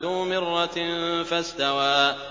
ذُو مِرَّةٍ فَاسْتَوَىٰ